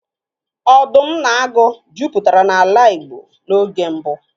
Ọdụm na agụ jupụtara n'ala Igbo n'oge mbụ.